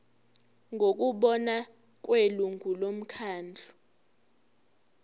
ngokubona kwelungu lomkhandlu